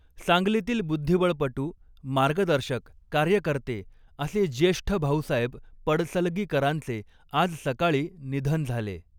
सांगलीतील बुद्धिबळपटू मार्गदर्शक कार्यकर्ते असे ज्येष्ठ भाउसाहेब पडसलगीकरांचे आज सकाळी निधन झाले.